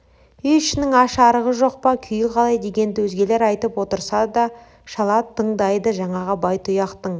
үй ішінің аш-арығы жоқ па күйі қалай дегенді өзгелер айтып отырса да шала тыңдайды жаңағы байтұяқтың